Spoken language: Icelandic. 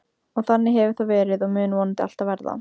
Og þannig hefur það verið og mun vonandi alltaf verða.